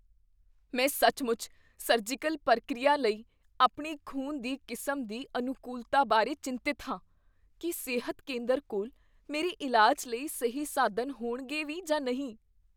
ਮੈਂ ਸੱਚਮੁੱਚ ਸਰਜੀਕਲ ਪ੍ਰਕਿਰਿਆ ਲਈ ਆਪਣੀ ਖ਼ੂਨ ਦੀ ਕਿਸਮ ਦੀ ਅਨੁਕੂਲਤਾ ਬਾਰੇ ਚਿੰਤਤ ਹਾਂ। ਕੀ ਸਿਹਤ ਕੇਂਦਰ ਕੋਲ ਮੇਰੇ ਇਲਾਜ ਲਈ ਸਹੀ ਸਾਧਨ ਹੋਣਗੇ ਵੀ ਜਾਂ ਨਹੀਂ?